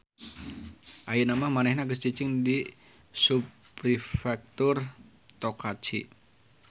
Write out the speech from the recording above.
Ayeuna mah manehna geus cicing di subprefektur Tokachi